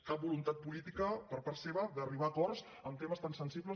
cap voluntat política per part seva d’arribar a acords en temes tan sensibles